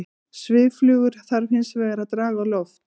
Svifflugur þarf hins vegar að draga á loft.